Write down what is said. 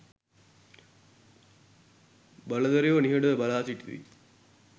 බලධරයෝ නිහඩව බලා සිටිති.